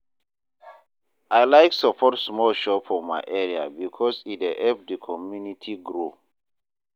I like support small shops for my area because e dey help the community grow.